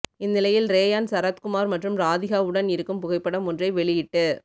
இந்நிலையில் ரேயான் சரத்குமார் மற்றும் ராதிகாவுடன் இருக்கும் புகைப்படம் ஒன்றை வெளியிட்டு